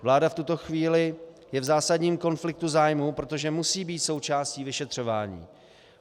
Vláda v tuto chvíli je v zásadním konfliktu zájmů, protože musí být součástí vyšetřování.